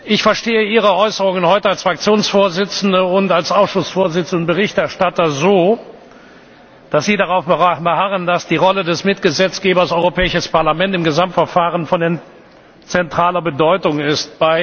Ich verstehe Ihre Äußerungen heute als Fraktionsvorsitzende und als Ausschussvorsitzende und Berichterstatter so, dass Sie darauf beharren, dass die Rolle des Mitgesetzgebers Europäisches Parlament im Gesamtverfahren von zentraler Bedeutung ist.